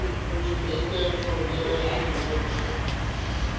studente formele teoretiese